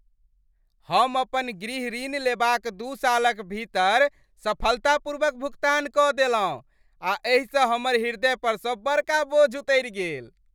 हम अपन गृह ऋण लेबाक दू सालक भीतर सफलतापूर्वक भुगतान कऽ देलहुँ आ एहिसँ हमर हृदय परसँ बड़का बोझ उतरि गेल।